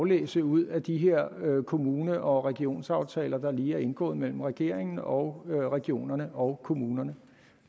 læse ud af de her kommune og regionsaftaler der lige er indgået mellem regeringen og regionerne og kommunerne